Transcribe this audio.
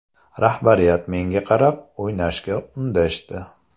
Rahbariyat menga qarab, o‘ynashga undashdi.